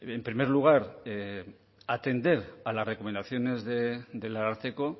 en primer lugar atender a las recomendaciones del ararteko